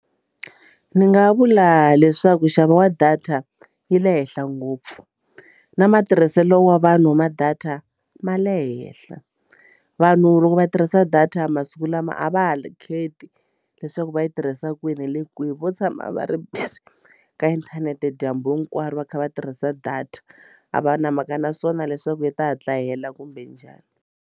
Ni nga vula leswaku nxavo wa data yi le henhla ngopfu na matirhiselo wa vanhu va ma data ma le henhla vanhu loko va tirhisa data masiku lama a va ha kheti leswaku va yi tirhisa kwini hi le kwihi vo tshama va ri busy ka inthanete dyambu hinkwaro va kha va tirhisa data a va na mhaka na swona leswaku yi ta hatla hela kumbe njhani.